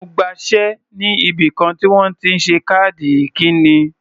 Mo gbaṣé sí ibìkan tí wọ́n ti ń ṣe káàdì ikíni.